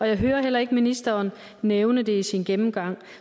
jeg hører heller ikke ministeren nævne det i sin gennemgang